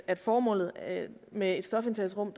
at formålet med et stofindtagelsesrum